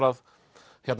að